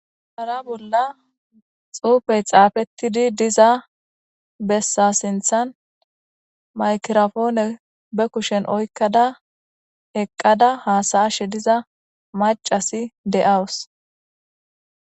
Sharra bolla xuffeyi xaffetidi diza bessan siththan mayikkiraponne be kushshen oyikkada eqqada has'ashe dizza maccasi de'awus.